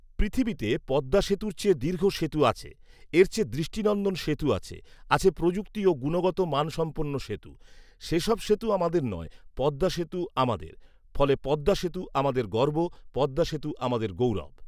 পৃথিবীতে পদ্মাসেতুর চেয়ে দীর্ঘ সেতু আছে৷এর চেয়ে দৃষ্টিনন্দন সেতু আছে৷ আছে প্রযুক্তি ও গুণগত মানসম্পন্ন সেতু৷ সেসব সেতু আমাদের নয়, পদ্মাসেতু আমাদের৷ফলে পদ্মাসেতু আমাদের গর্ব, পদ্মাসেতু আমাদের গৌরব৷